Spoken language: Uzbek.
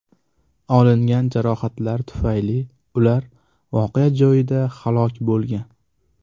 Olingan jarohatlar tufayli ular voqea joyida halok bo‘lgan.